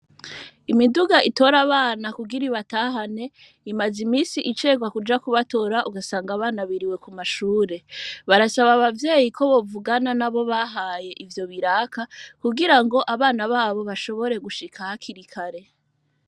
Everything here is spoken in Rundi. Imiduga itora abana kugira i batahane imaze imisi icerwa kuja kubatora ugasanga abana biriwe ku mashure barasaba abavyeyi ko bovugana na bo bahaye ivyo biraka kugira ngo abana babo bashobore gushika hakirikare.